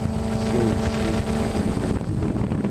3. ṣe iṣiro iye ojulowo naa.